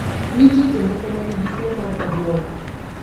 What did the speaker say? Nitie jomoko ma nigi tuwo mar obwongo.